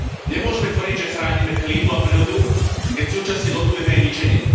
Nemôžeme tvrdiť, že chránime klímu a prírodu, keď súčasne dotujeme jej ničenie.